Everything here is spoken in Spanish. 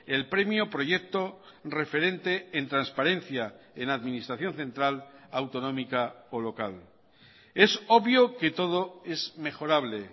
el premio proyecto referente en transparencia en administración central autonómica o local es obvio que todo es mejorable